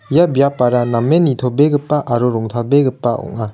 ia biapara namen nitobegipa aro rongtalbegipa ong·a.